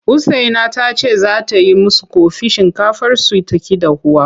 Usaina ta ce za ta yi musu ƙofi shinkafarsu ta ƙi dahuwa.